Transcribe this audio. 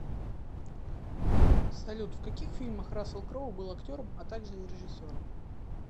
салют в каких фильмах рассел кроу был актером а также и режисером